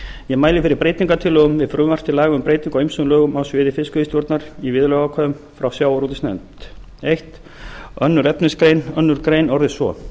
ég mæli fyrir breytingartillögu við frumvarp til laga um breytingu á ýmsum lögum á sviði fiskveiðistjórnar í viðurlagaákvæðum frá sjávarútvegsnefnd fyrstu annarri efnismgr annarri grein orðist svo